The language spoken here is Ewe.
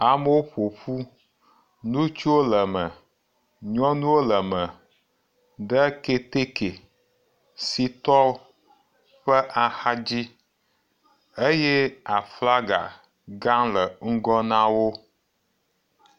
Amewo ƒo ƒu, ŋutsuwo le me, nyɔnuwo le me, ɖe keteke si tɔ ƒe axa dzi eye aflaga gã le ŋgɔ na wo.